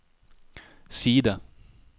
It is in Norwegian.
side